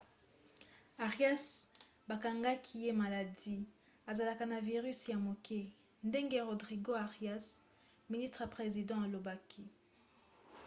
arias bakangaki ye maladi azalaki na virisi ya moke ndenge rodrigo arias ministre ya president alobaki